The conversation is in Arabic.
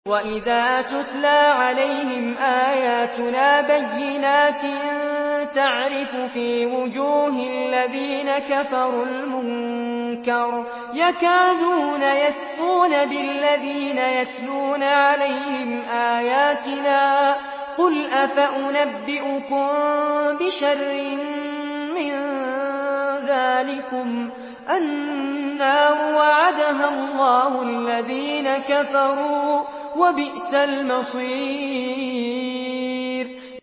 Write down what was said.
وَإِذَا تُتْلَىٰ عَلَيْهِمْ آيَاتُنَا بَيِّنَاتٍ تَعْرِفُ فِي وُجُوهِ الَّذِينَ كَفَرُوا الْمُنكَرَ ۖ يَكَادُونَ يَسْطُونَ بِالَّذِينَ يَتْلُونَ عَلَيْهِمْ آيَاتِنَا ۗ قُلْ أَفَأُنَبِّئُكُم بِشَرٍّ مِّن ذَٰلِكُمُ ۗ النَّارُ وَعَدَهَا اللَّهُ الَّذِينَ كَفَرُوا ۖ وَبِئْسَ الْمَصِيرُ